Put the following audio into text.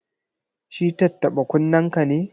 Shi tattaɓa-kunnenka ne?